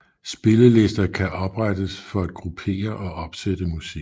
Spillelister kan oprettes for at gruppere og opsætte musik